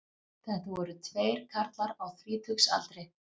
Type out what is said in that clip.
Þetta voru tveir karlar á þrítugsaldri